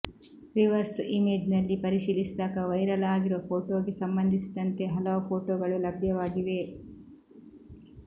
reverse ಇಮೇಜ್ನಲ್ಲಿ ಪರಿಶೀಲಿಸಿದಾಗ viral ಆಗಿರುವ ಫೋಟೋಗೆ ಸಂಬಂಧಿಸಿದಂತೆ ಹಲವು ಫೋಟೋಗಳು ಲಭ್ಯವಾಗಿವೆ